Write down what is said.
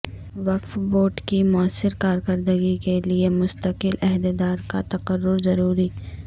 وقف بورڈ کی موثر کارکردگی کیلئے مستقل عہدیدار کا تقرر ضروری